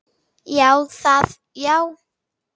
Já, það já.